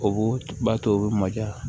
O b'o b'a to u bɛ maja